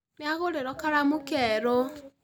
Nĩagũrĩirwo karamu keerũ